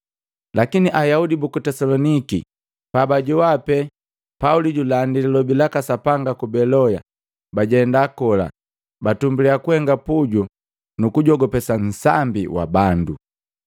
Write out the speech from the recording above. Lakini Ayaudi buku Tesaloniki pa bajowa pee Pauli julandi lilobi laka Sapanga ku Beloya, bajenda kola, batumbuliya kuhenga puju na kugujogopesa nsambi wa bandu.